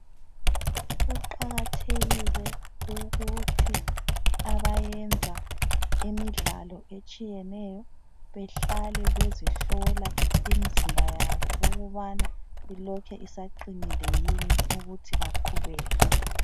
Kuqakathekile ukuthi abayenza imidlalo etshiyeneyo behlale bezihlola umzimba yabo ukubana ilokhu isaqinile yini ukuthi baqhubeke.